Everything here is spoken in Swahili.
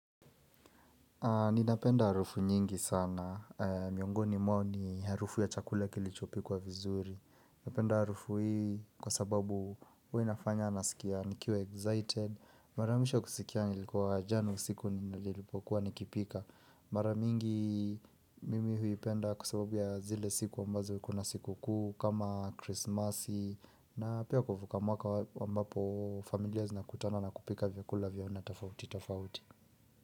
Ninapenda harufu nyingi sana. Miongoni mwao ni harufu ya chakula kilichopikwa vizuri. Napenda harufu hii kwa sababu hua inafanya nasikia nikiwa excited. Mara mwisho kusikia nilikuwa jana siku nilipokuwa nikipika. Mara mingi mimi huipenda kwa sababu ya zile siku ambazo kuna sikukuu kama Chrisimasi. Na pia kuvuka mwaka ambapo familia zinakutana na kupika vyakula vya aina tofauti tofauti.